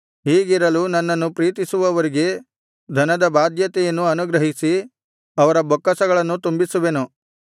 ಹೀಗಿರಲು ನನ್ನನ್ನು ಪ್ರೀತಿಸುವವರಿಗೆ ಧನದ ಬಾಧ್ಯತೆಯನ್ನು ಅನುಗ್ರಹಿಸಿ ಅವರ ಬೊಕ್ಕಸಗಳನ್ನು ತುಂಬಿಸುವೆನು